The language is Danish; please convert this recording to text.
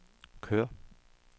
kør